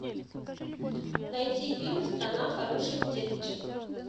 найти фильм страна хороших деточек